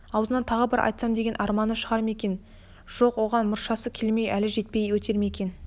аузынан тағы бір айтсам деген арманы шығар ма екен жоқ оған мұршасы келмей әлі жетпей өтер ме екен